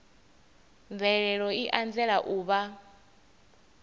mvelelo i anzela u vha